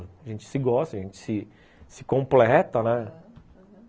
A gente se gosta, a gente se se completa, né? ãh, uhum